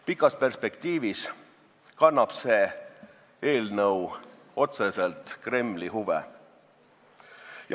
Pikas perspektiivis kannab see eelnõu otseselt Kremli huve.